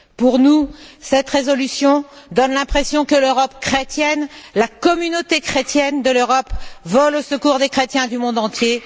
Pour nous, cette résolution donne l'impression que l'Europe chrétienne, la communauté chrétienne de l'Europe vole au secours des chrétiens du monde entier.